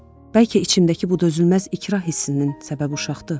Bəlkə içimdəki bu dözülməz ikrah hissinin səbəbi uşaqdır?